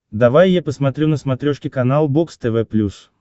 давай я посмотрю на смотрешке канал бокс тв плюс